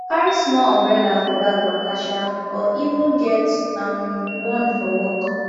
carry small umbrella for bag waka um or even get um one for work